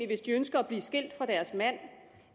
hvis de ønsker at blive skilt fra deres mand